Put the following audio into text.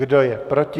Kdo je proti?